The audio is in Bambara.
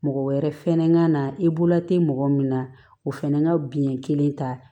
Mɔgɔ wɛrɛ fɛnɛ ka na i bolo tɛ mɔgɔ min na o fɛnɛ ka biɲɛ kelen ta